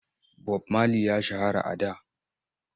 Bob Mali ya shahara a da.